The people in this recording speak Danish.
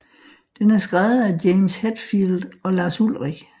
Den er skrevet af James Hetfield og Lars Ulrich